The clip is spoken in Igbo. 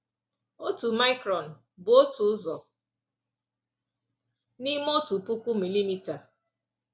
Otu micron bụ otu ụzọ n’ime otu puku milimita.